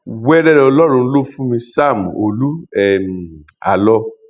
wẹrẹ lọlọrun ló fún mi sam olú um àlọ